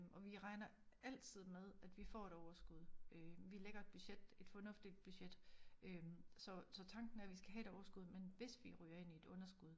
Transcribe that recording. Og vi regner altid med at vi får et overskud øh vi lægger et budget et fornuftigt budget øh så så tanken er vi skal have et overskud men hvis vi ryger ind i et underskud